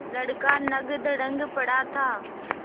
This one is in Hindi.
लड़का नंगधड़ंग पड़ा था